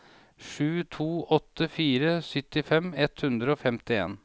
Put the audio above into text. sju to åtte fire syttifem ett hundre og femtien